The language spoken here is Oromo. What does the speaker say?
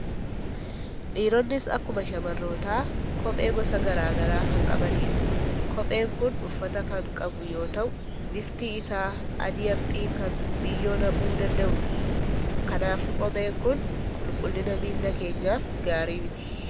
Dhiironnis akkuma shamarrootaa kophee gosa garaa garaa kan qabanidha. Kopheen kun uffata kan qabu yoo ta'u, bifti isaa adii haphii kan biyyoo naquu danda'udha. kanaafuu kopheen kun qulqullina miila keenyaaf gaarii miti.